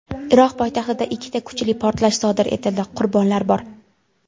Iroq poytaxtida ikkita kuchli portlash sodir etildi, qurbonlar bor.